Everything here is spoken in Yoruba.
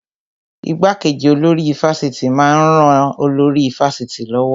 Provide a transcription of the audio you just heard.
Ìgbàkeji olórí ifásitì máa ń ran olórí ifásitì lọ́wọ́